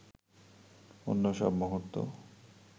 অন্য সব মুহূর্ত